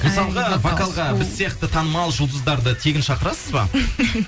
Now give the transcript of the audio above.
мысалға вокалға біз сияқты танымал жұлдыздарды тегін шақырасыз ба